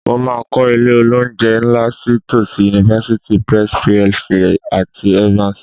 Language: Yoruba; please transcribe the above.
Mo máa kọ́ ilé-olóunjẹ ńlá sí tòsí University Press PLC àti Evans